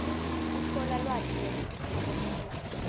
kutfola lwati nekutitfokotisa